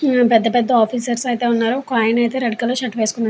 పెద్ద పెద్ద ఆఫీసర్స్ అయతె వున్నారు ఒక ఆయన అయితె రెడ్ కలర్ షర్టు వేసుకున్నారు.